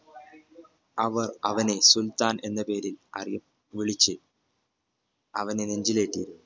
അവർ അവനെ സുൽത്താൻ എന്ന പേര് അതെ വിളിച്ചു അവനെ നെഞ്ചിലേറ്റി